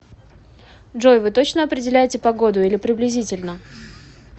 джой вы точно определяете погоду или приблизительно